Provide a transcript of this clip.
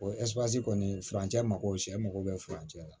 O kɔni furancɛ mago sɛ mako bɛ furancɛ la